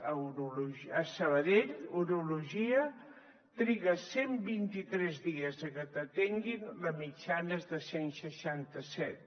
a sabadell urologia triga cent i vint tres dies perquè t’atenguin la mitjana és de cent i seixanta set